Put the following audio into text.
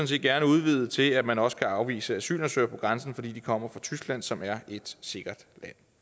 set gerne udvide til at man også kan afvise asylansøgere ved grænsen fordi de kommer fra tyskland som er et sikkert